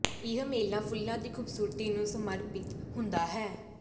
ਇਹ ਮੇਲਾ ਫੁੱਲਾਂ ਦੀ ਖੂਬਸੂਰਤੀ ਨੂੰ ਸੱਮਰਪਿਤ ਹੁੰਦਾ ਹੈ